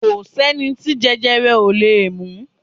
Kò sẹ́ni tí jẹjẹrẹ ò lè mú